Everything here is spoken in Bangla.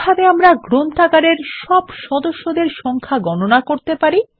কিভাবে আমরা লাইব্রেরির সকল সদস্যদের সংখ্যা গণনা করতে পারি